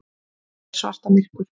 Er svarta myrkur?